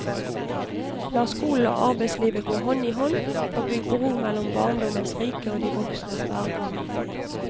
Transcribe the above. La skolen og arbeidslivet gå hånd i hånd, og bygg bro mellom barndommens rike og de voksnes verden.